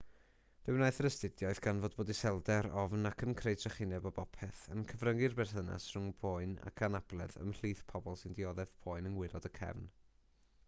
fe wnaeth yr astudiaeth ganfod bod iselder ofn ac yn creu trychineb o bopeth yn cyfryngu'r berthynas rhwng poen ac anabledd ymhlith pobl sy'n dioddef poen yng ngwaelod y cefn